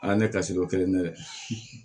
ne ka si ko kelen na dɛ